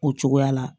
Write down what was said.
O cogoya la